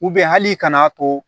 hali ka n'a to